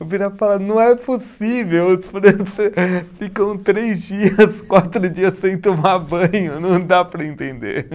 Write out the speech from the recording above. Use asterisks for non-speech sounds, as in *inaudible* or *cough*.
Eu virava e falava, não é possível, os france *laughs* ficam três dias, quatro dias sem tomar banho, não dá para entender.